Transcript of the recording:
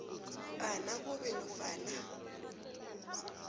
a nakube nofana